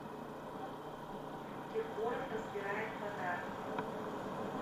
киркоров разбирает подарки